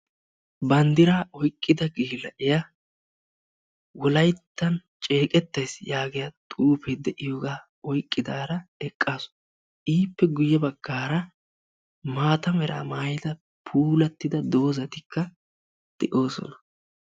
Banddiraa oyqqida yelagiyaa wolayttan ceeqettays yaagiyaa xuufee de'iyoogaa oyqqidaara eqqasu. ippe guye baggaara maata meraa maayida puulattida doozatikka de'oosona.